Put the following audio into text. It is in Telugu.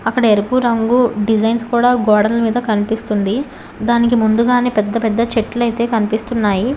అక్కడ ఎరుపు రంగు డిజైన్స్ కూడా గోడల మీద కనిపిస్తుంది దానికి ముందుగానే పెద్ద పెద్ద చెట్లైతే కనిపిస్తున్నాయి.